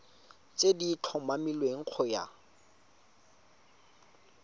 tse di tlhomilweng go ya